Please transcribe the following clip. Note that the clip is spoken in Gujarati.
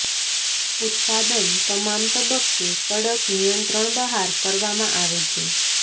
ઉત્પાદન તમામ તબક્કે કડક નિયંત્રણ બહાર કરવામાં આવે છે